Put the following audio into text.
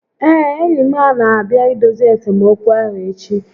Ee, enyi m n'abịa idozi esemokwu ahụ echi